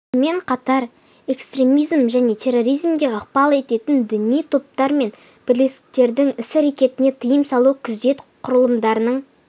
сонымен қатар экстремизм мен терроризмге ықпал ететін діни топтар мен бірлестіктердің іс-әрекеттеріне тыйым салу күзет құрылымдарының